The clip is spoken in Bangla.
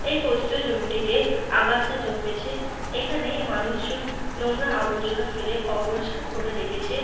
এই পতিত জমিটিতে আগাছা জন্মেছে। এখানে মানুষজন নোংরা আবর্জনা ফেলে অপরিষ্কার করে রেখেছে।